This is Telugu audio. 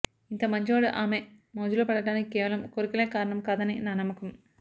ఇంత మంచివాడు ఆమె మోజులో పడటానికి కేవలం కోర్కెలే కారణం కాదని నా నమ్మకం